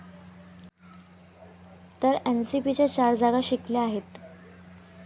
तर एनसीपीने चार जागा जिंकल्या आहेत.